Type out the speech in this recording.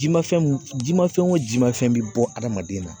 Ji ma fɛn mun di man fɛn o jimafɛn bɛ bɔ adamaden na